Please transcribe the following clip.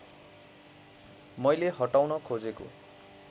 मैले हटाउन खोजेको